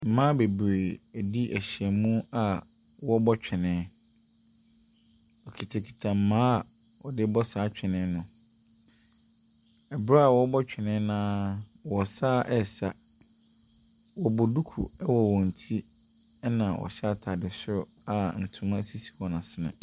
Mmaa bebree di ahyiam a wɔrebɔ twene. Wɔkitakita mmaa a wɔde rebɔ saa twene no. Berɛ a wɔrebɔ twene no ara, wɔsan resa. Wɔbɔ duku wɔ wɔn ti, ɛnna wɔhyɛ atade soro a ntoma sisi wɔn asene.